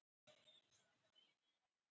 Móavöllum